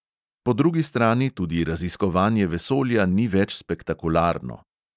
Po drugi strani tudi raziskovanje vesolja ni več spektakularno.